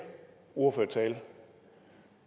ordførertale